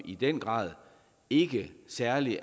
i den grad ikke særlig